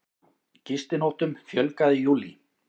Gistinóttum fjölgaði í júlí